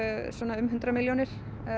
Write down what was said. um hundrað milljónir